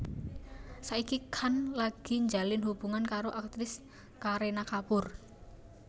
Saiki Khan lagi njalin hubungan karo aktris Kareena Kapoor